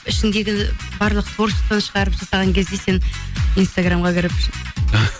ішіңдегіні барлық творчестваны шығарып жасаған кезде сен инстаграмға кіріп